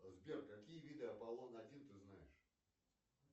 сбер какие виды аполлон один ты знаешь